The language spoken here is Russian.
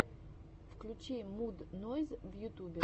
включи муд нойз в ютубе